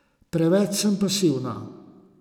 Preveč sem pasivna.